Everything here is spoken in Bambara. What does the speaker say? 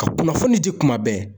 Ka kunnafoni di kuma bɛɛ